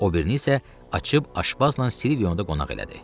O birini isə açıb Aşbazla Silvionda qonaq elədi.